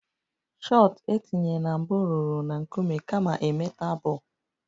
Shot etinye na mbụ rụrụ na a nkume kama a metal bọl